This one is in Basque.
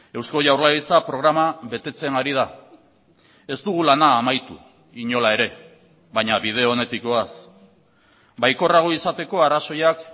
eusko jaurlaritza programa betetzen ari da ez dugu lana amaitu inola ere baina bide onetik goaz baikorrago izateko arrazoiak